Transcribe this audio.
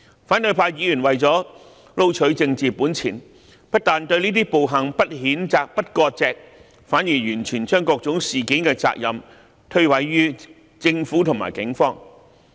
反對派議員為了撈取政治本錢，不但對這些暴行不譴責、不割席，反而完全將各種事件的責任推諉於政府及警方。